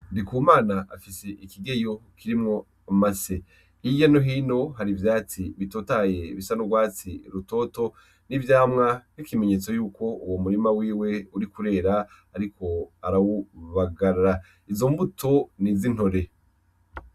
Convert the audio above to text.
Ndikumana afise ikigeyo kirimwo amase; Hirya no hino hari ivyatsi bitotahaye bisa n'urwatsi rutoto n'ivyamwa nk'ikimenyetso yuko umurima wiwe uriko urera, ariko arawubagara. Izo mbuto ni iz'intore.